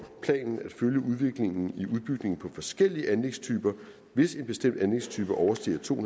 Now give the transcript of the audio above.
planen at følge udviklingen i udbygningen af forskellige anlægstyper hvis en bestemt anlægstype overstiger to